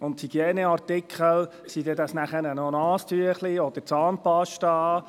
Und die Hygieneartikel, sind dies Taschentücher oder Zahnpasta?